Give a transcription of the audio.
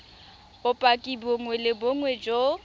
bopaki bongwe le bongwe jo